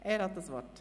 Er hat das Wort.